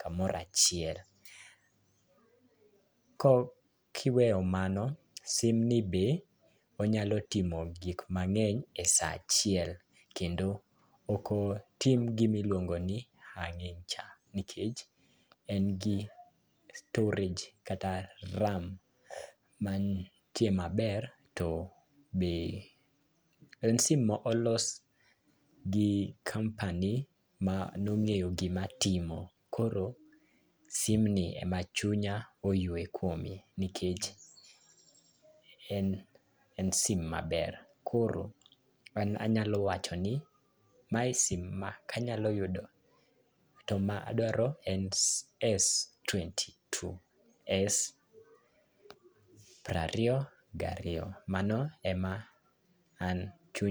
kamora chiel. Ko kiweyo mano sim ni be onyalo timo gik mang'eny e saa achiel kendo, ok otim gimiluongo ni ang'e cha nikech en gi storage kata RAM mantie maber to ber en sim mo olos gi company ma nong'eyo gima timo koro sim ni ema chunya oywe kuome nikech en en sim maber. Koro an anyalo wacho no mae sim ma kanyalo yudo to madwaro en en s twenty two en s prariyo gariyo mano ema en chunya